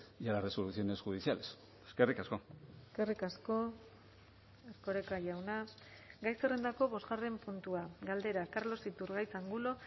y a las resoluciones judiciales eskerrik asko eskerrik asko erkoreka jauna gai zerrendako bosgarren puntua galdera carlos iturgaiz angulo